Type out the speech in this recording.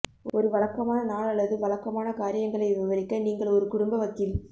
ஒரு வழக்கமான நாள் அல்லது வழக்கமான காரியங்களை விவரிக்க நீங்கள் ஒரு குடும்ப வக்கீல்